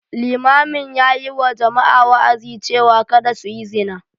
Limamin ya yi wa jama’a wa’azi cewa kada su yi zina.